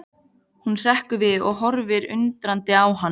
Hún hrekkur við og horfir undrandi á hann.